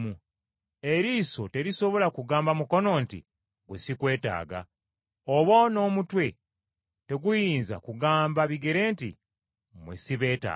Eriiso terisobola kugamba mukono nti, “Ggwe sikwetaaga,” oba n’omutwe teguyinza kugamba bigere nti, “Mmwe sibeetaaga.”